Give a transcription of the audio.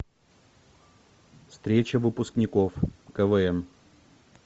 встреча выпускников квн